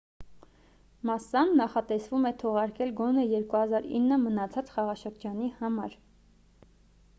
մասսան նախատեսվում է թողարկել գոնե 2009 մնացած խաղաշրջանի համար